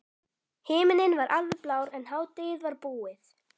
Himinninn var alveg blár en hádegið var búið.